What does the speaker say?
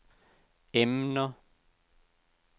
emner